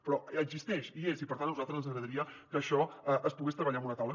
però existeix hi és i per tant a nosaltres ens agradaria que això es pogués treballar amb una taula